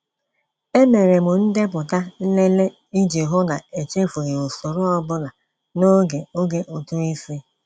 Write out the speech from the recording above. E mere m ndepụta nlele iji hụ na echefughị usoro ọbụla n'oge oge ụtụisi.